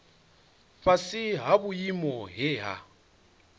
fhasi ha vhuimo he ha